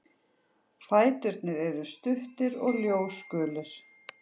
Fæturnir eru stuttir og ljósgulir.